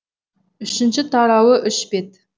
үшінші тарауы үш бет